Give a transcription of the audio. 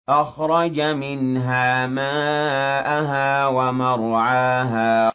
أَخْرَجَ مِنْهَا مَاءَهَا وَمَرْعَاهَا